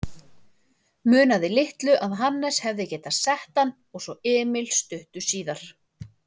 Munaði litlu að Hannes hefði getað sett hann og svo Emil stuttu síðar.